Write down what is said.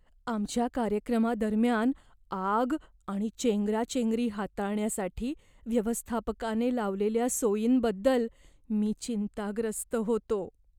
आमच्या कार्यक्रमादरम्यान आग आणि चेंगराचेंगरी हाताळण्यासाठी व्यवस्थापकाने लावलेल्या सोयींबद्दल मी चिंताग्रस्त होतो.